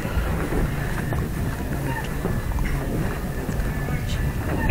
Gwen mag ringo gi manyuolo tong okonego opidh kamoro achiel